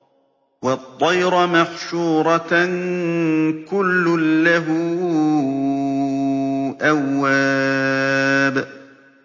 وَالطَّيْرَ مَحْشُورَةً ۖ كُلٌّ لَّهُ أَوَّابٌ